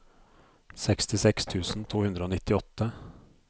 sekstiseks tusen to hundre og nittiåtte